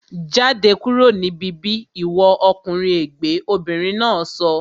Jáde kúrò ní bíbí ìwọ ọkùnrin ègbẹ́! Obìnrin náà sọ